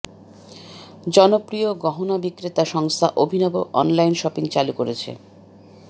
জনপ্রিয় গহনা বিক্রেতা সংস্থা অভিনব অনলাইন শপিং চালু করেছে